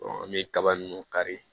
an bɛ kaba nunnu kari